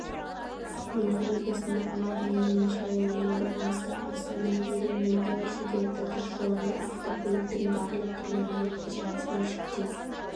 ақмола облысында ауа райының нашарлауына байланысты астана ерейментау шідерті тас жолында автокөліктің барлық түрлерінің қозғалысына шектеу